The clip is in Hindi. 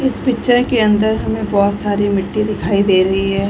इस पिक्चर के अंदर हमें बहुत सारी मिट्टी दिखाई दे रही है।